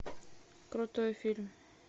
крутой фильм